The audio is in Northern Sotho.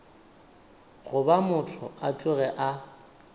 goba motho a tloge a